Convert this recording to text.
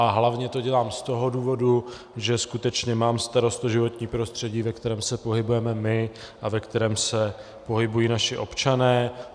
A hlavně to dělám z toho důvodu, že skutečně mám starost o životní prostředí, ve kterém se pohybujeme my a ve kterém se pohybují naši občané.